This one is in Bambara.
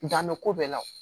Dan bɛ ko bɛɛ la